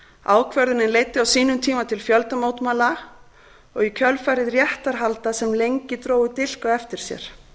ákvörðunin leiddi á sínum tíma til fjöldamótmæla og í kjölfarið réttarhalda sem lengi drógu dilk á eftir sér